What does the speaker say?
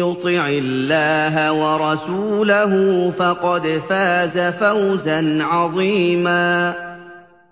يُطِعِ اللَّهَ وَرَسُولَهُ فَقَدْ فَازَ فَوْزًا عَظِيمًا